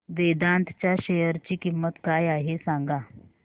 वेदांत च्या शेअर ची किंमत काय आहे सांगा